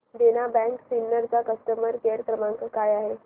देना bank Sinnar चा customer care क्रमांक काय आहे